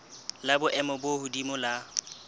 la boemo bo hodimo la